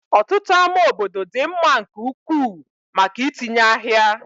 Ọtụtụ ámá obodo dị mma nke ukwuu maka itinye ahịa.